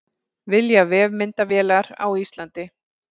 Vilja vefmyndavélar á Íslandi